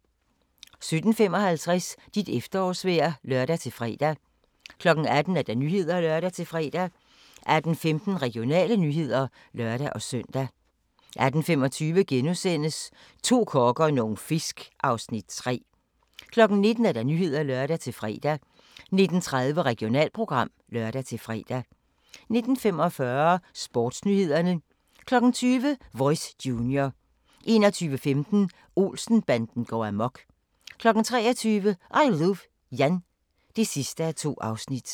17:55: Dit efterårsvejr (lør-fre) 18:00: Nyhederne (lør-fre) 18:15: Regionale nyheder (lør-søn) 18:25: To kokke og nogle fisk (Afs. 3)* 19:00: Nyhederne (lør-fre) 19:30: Regionalprogram (lør-fre) 19:45: Sportsnyhederne 20:00: Voice Junior 21:15: Olsen-banden går amok 23:00: I Luv Jan (2:2)